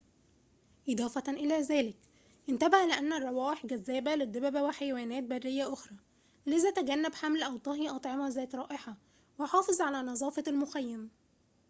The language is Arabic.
إضافةً إلى ذلك انتبه لأن الروائح جاذبة للدببة وحيوانات برية أخرى لذا تجنّب حمل أو طهي أطعمة ذات رائحة وحافظ على نظافة المخيم